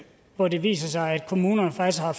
hvor det viser sig at kommunerne faktisk har